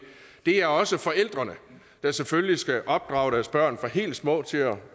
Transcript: er også forældrene der selvfølgelig skal opdrage deres børn fra helt små til at